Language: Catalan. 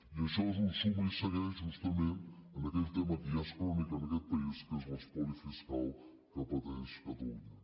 i això és un suma i segueix justament en aquell tema que ja és crònic en aquest país que és l’espoli fiscal que pateix catalunya